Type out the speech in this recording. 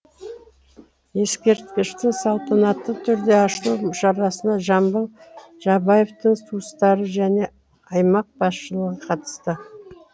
ескерткіштің салтанатты түрде ашылу шарасына жамбыл жабаевтың туыстары және аймақ басшылығы қатысты